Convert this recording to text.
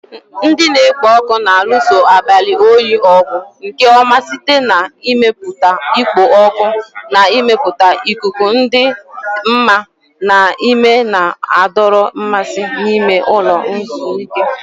Ndị na-ekpo ọkụ na-alụso abalị oyi ọgụ nke ọma site n'ịmepụta ikpo ọkụ na ịmepụta ikuku dị mma na nke na-adọrọ mmasị n'ime ụlọ ezumike.